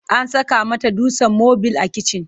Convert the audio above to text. An saka mata dutsen mabil a kitchen.